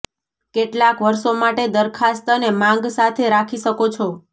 કેટલાક વર્ષો માટે દરખાસ્ત અને માંગ સાથે રાખી શકો છો